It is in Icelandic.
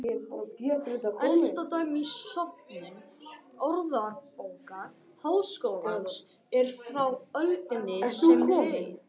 Elsta dæmi í söfnum Orðabókar Háskólans er frá öldinni sem leið.